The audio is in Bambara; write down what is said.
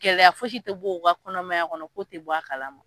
Gɛlɛya fosi tɛ bɔ o ka kɔnɔmaya kɔnɔ ko tɛ bɔ a kalama.